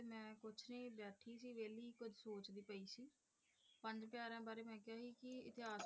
ਪੰਜ ਪਿਆਰਿਆਂ ਬਾਰੇ ਮੈਂ ਕਿਹਾ ਜੀ ਕੀ ਇਤਿਹਾਸ